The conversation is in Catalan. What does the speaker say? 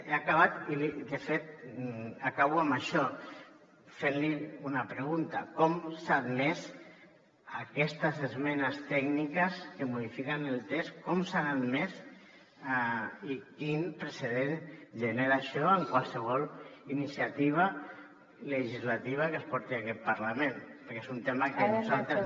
he acabat i de fet acabo amb això fent li una pregunta com s’han admès aquestes esmenes tècniques que modifiquen el text com s’han admès i quin precedent genera això en qualsevol iniciativa legislativa que es porti a aquest parlament perquè és un tema que nosaltres